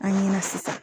An ɲɛna sisan